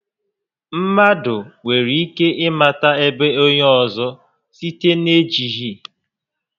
Mmadụ nwere ike ị mata ébo onyé ọzọ site n'ejighi